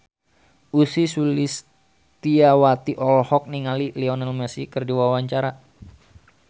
Ussy Sulistyawati olohok ningali Lionel Messi keur diwawancara